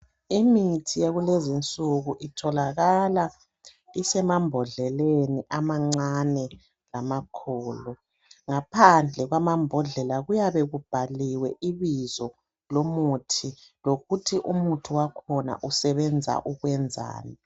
Imithi yakulezinsuku itholakala isemambodleleni amancane lamakhulu ngaphandle kwamambhodlela kuyabe kubhaliwe ibizo lomuthi lokuthi umuthi wakhona usebenza ukwenzani.